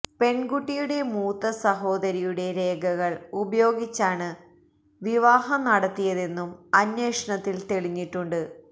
പെണ്കുട്ടിയുടെ മൂത്ത സഹോദരിയുടെ രേഖകള് ഉപയോഗിച്ചാണ് വിവാഹം നടത്തിയതെന്നും അന്വേഷണത്തില് തെളിഞ്ഞിട്ടുണ്ട്